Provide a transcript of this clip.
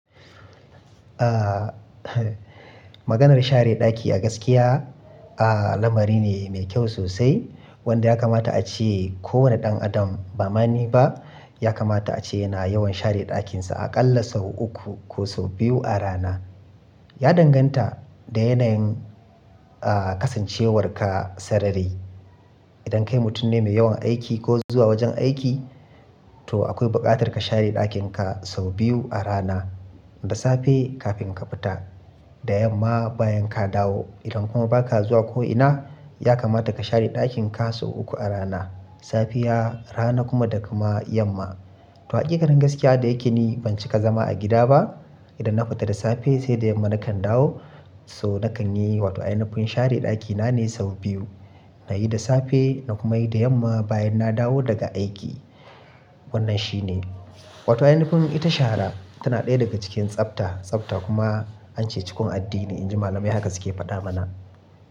Ah, Maganar share ɗaki a gaskiya, ah, lamari ne mai kyau sosai wanda ya kamata a ce kowane ɗan adam ba mani ba, ya kamata a ce yana yawan share ɗakinsa a ƙalla sau uku ko sau biyu a rana. Ya danganta da yanayin, ah, kasancewarka sarari. Idan kai mutum ne mai yawan aiki ko zuwa wajen aiki, to akwai bukatar ka share ɗakin ka sau biyu a rana, da safe kafin ka fita, da yamma bayan ka dawo. Idan kuma ba ka zuwa ko ina, ya kamata ka share ɗakin ka sau uku a rana, safiya, rana kuma da kuma yamma. To haƙiƙanin gaskiya da yake ni ban cika zama a gida ba. Idan na fita da safe sai da yamma na kan dawo. So na kan yi, wato ainafin share ɗaki na ne sau biyu. Na yi da safe, na kuma yi da yamma bayan na dawo daga aiki. Wannan shi ne. Wato ainufin ita shara tana ɗaya daga cikin tsafta, tsafta kuma an ce cikon addini, in ji malamai haka suke faɗa mana.